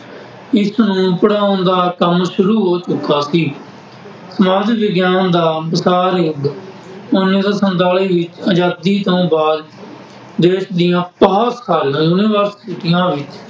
ਇਸਨੂੰ ਪੜ੍ਹਾਉਣ ਦਾ ਕੰਮ ਸ਼ੁਰੂ ਹੋ ਚੁੱਕਾ ਸੀ। ਸਮਾਜ ਵਿਗਿਆਨ ਦਾ ਵਸਾ ਯੁੱਗ- ਉੱਨੀ ਸੌ ਸੰਤਾਲੀ ਆਜ਼ਾਦੀ ਤੋਂ ਬਾਅਦ ਦੇਸ਼ ਦੀਆਂ ਬਹੁਤ ਸਾਰੀਆਂ ਯੂਨੀਵਰਸਿਟੀਆਂ ਵਿੱਚ